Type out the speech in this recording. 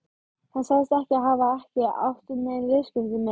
Hann sagðist ekki hafa ekki átt nein viðskipti með